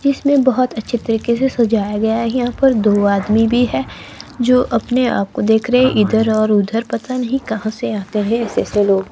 जिसमें बहोत अच्छे तरीके से सजाया गया है। यहां पर दो आदमी भी है जो अपने आप को देख रहे हैं इधर और उधर पता नहीं कहां से आते है ऐसे ऐसे लोग--